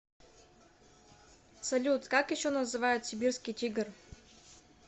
салют как еще называют сибирский тигр